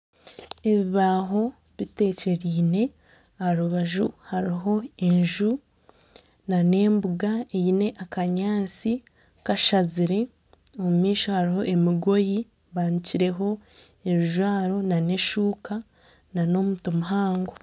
Ebibaaho bitekyereine, aharubaju hariho enju nana embuga eine akanyaatsi kashazire. Omumaisho hariyo emigoyi banikireho ebijwaro nana eshuka nana omuti muhango.